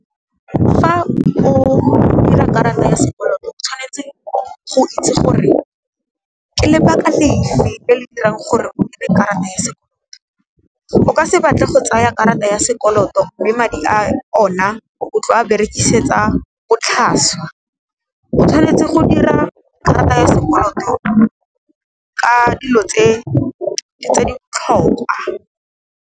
Fa o dira karata ya sekoloto o tshwanetse go itse gore, ke lebaka lefe le le dirang gore o dire karata ya sekoloto. O ka se batle go tsaya karata ya sekoloto mme madi a ona o tlo a berekisetsa botlhaswa, o tshwanetse go dira karata ya sekoloto ka dilo tse di botlhokwa.